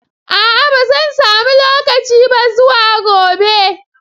A'a ba zan samu lokaci ba zuwa gobe.